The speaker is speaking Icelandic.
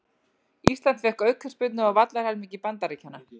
Ísland fékk aukaspyrnu á vallarhelmingi Bandaríkjanna